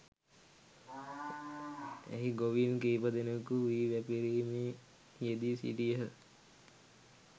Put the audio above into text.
එහි ගොවීන් කීපදෙනෙකු වී වැපිරීමේ යෙදී සිටියහ